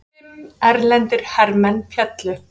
Fimm erlendir hermenn féllu